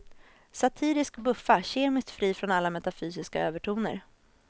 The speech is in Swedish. Satirisk buffa, kemiskt fri från alla metafysiska övertoner.